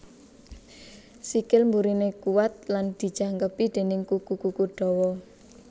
Sikil mburiné kuwat lan dijangkepi déning kuku kuku dawa